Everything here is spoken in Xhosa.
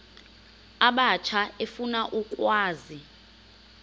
abatsha efuna ukwazi